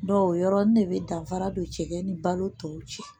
Dɔw yɔrɔnin ne bɛ danfara don cɛ ni balo tɔw cɛ